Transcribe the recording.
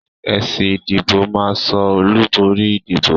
Èsì ìdìbò máa so olùborí ìdìbò